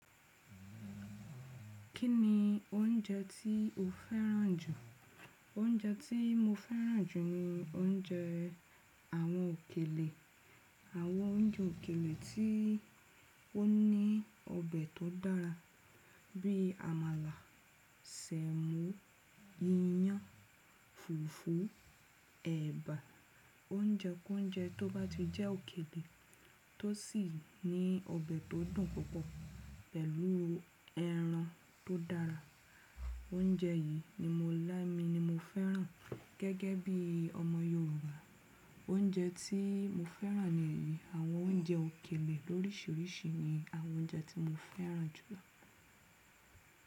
Kí ni oúnjẹ tí o féràn jù? Oúnjẹ tí mo féràn jù ni oúnjẹ àwọn òkèlè, àwọn oúnjẹ òkèlè tí ó ní ọbẹ̀ tó dára bí i àmàlà, sẹ̀mò, iyán, fùfú, ẹ̀bà. Oúnjẹ kouńjẹ tó bá ti jẹ́ òkèlè tó sì ní ọbẹ̀ tó dùn púpọ̀ pẹ̀lú ẹran tó dára. Oúnjẹ yìí ni mo lámi ni mo féràn gẹ́gẹ́ bí ọmọ Yorùbá. Oúnjẹ tí mo féràn nìyí, àwọn oúnjẹ òkèlè lórísìírísìí ni àwọn oúnjẹ tí mo féràn jùlọ.